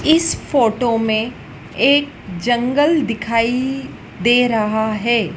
इस फोटो में एक जंगल दिखाई दे रहा है।